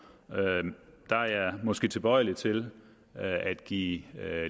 der er jeg måske tilbøjelig til at give